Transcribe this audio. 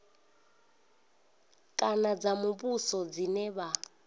kana dza muvhuso dzine vha